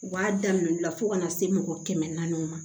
U b'a daminɛ la fo kana se mɔgɔ kɛmɛ naani ma